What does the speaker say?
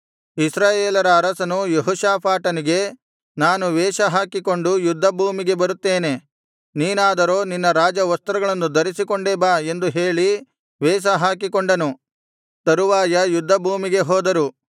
ಇಸ್ರಾಯೇಲರ ಅರಸನು ಯೆಹೋಷಾಫಾಟನಿಗೆ ನಾನು ವೇಷ ಹಾಕಿಕೊಂಡು ಯುದ್ಧ ಭೂಮಿಗೆ ಬರುತ್ತೇನೆ ನೀನಾದರೋ ನಿನ್ನ ರಾಜವಸ್ತ್ರಗಳನ್ನು ಧರಿಸಿಕೊಂಡೇ ಬಾ ಎಂದು ಹೇಳಿ ವೇಷ ಹಾಕಿಕೊಂಡನು ತರುವಾಯ ಯುದ್ಧ ಭೂಮಿಗೆ ಹೋದರು